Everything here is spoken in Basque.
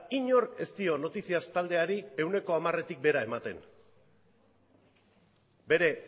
inork ez dio noticias taldeari ehuneko hamaretik behera ematen bere